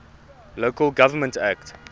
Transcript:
local government act